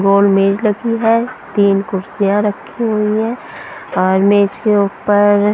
गोल मेज लगी है तीन कुर्तियाँ रखी हुई हैं और मेज के ऊपर --